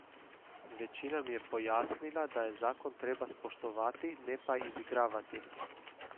Večina mi je pojasnila, da je zakon treba spoštovati, ne pa izigravati.